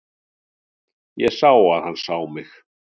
Ég sá að hann sá mig.